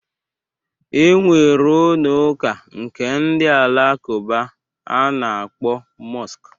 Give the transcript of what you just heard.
E nwere ụnọ ụka nke ndị alakụba a na-akpọ mọsk.